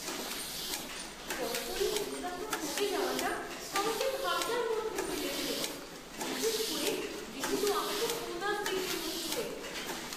Corporate মুনাফা কমে যাওয়াটা আমাকে ভাবনার মধ্যে ফেলেছে, বিশেষ করে যেহেতু আমাকে বোনাস দিতে হচ্ছে।